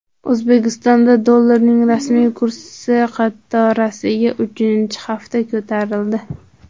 O‘zbekistonda dollarning rasmiy kursi qatorasiga uchinchi hafta ko‘tarildi.